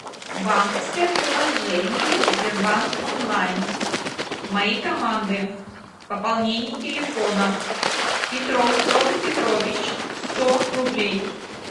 банковское приложение сбербанк онлайн мои команды пополнение телефона петров петр петрович сто рублей